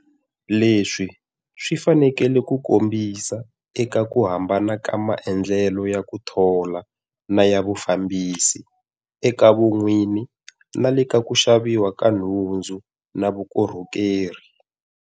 Leswi swi faneleke ku kombisa eka ku hambana ka maendlelo ya ku thola na ya vufambisi, eka vun'wini na le ka ku xaviwa ka tinhundzu na vukorhokeri.